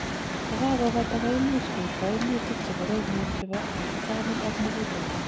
yekakobata, koimuch koib koimutik chekoromen chebo abutanik ak muguleldo